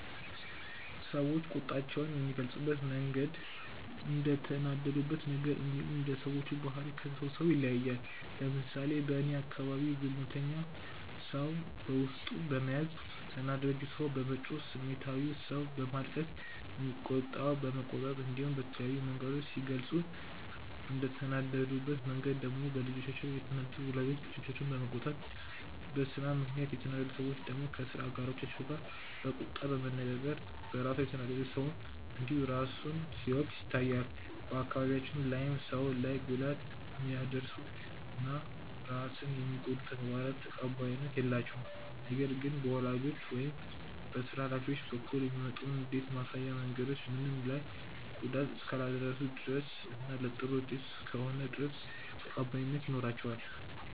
ሰዎች ቁጣቸውን የሚገልጹበት መንገድ እንደተናደዱበት ነገር እንዲሁም እንደ ሰዎቹ ባህሪ ከሰው ሰው ይለያያል። ለምሳሌ በእኔ አካባቢ ዝምተኛው ሰው በውስጡ በመያዝ፣ ተናዳጁ ሰው በመጮህ፣ ስሜታዊው ሰው በማልቀስ፣ የሚቆጣው በመቆጣት እንዲሁም በተለያዩ መንገዶች ሲገልጹ፤ እንደተናደዱበት መንገድ ደግሞ በልጆቻቸው የተናደዱ ወላጆች ልጆቻቸውን በመቆጣት፣ በስራ ምክንያት የተናደዱ ሰዎች ደግሞ ከስራ አጋሮቻቸው ጋር በቁጣ በመነጋገር፣ በራሱ የተናደደ ሰውም እንዲሁ ራሱን ሲወቅስ ይታያል። በአካባቢያችን ላይም ሰው ላይ ጉዳት የሚያደርሱ እና ራስን የሚጎዱ ተግባራት ተቀባይነት የላቸውም። ነገር ግን በወላጆች ወይም በስራ ሀላፊዎች በኩል የሚመጡ ንዴት ማሳያ መንገዶች ምንም ላይ ጉዳት እስካላደረሱ ድረስ እና ለጥሩ ውጤት እስከሆነ ድረስ ተቀባይነት ይኖራቸዋል።